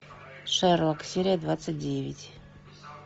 шерлок серия двадцать девять